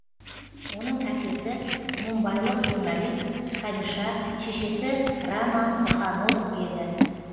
оның әкесі мумбайлық журналист хариша шешесі рама бханот еді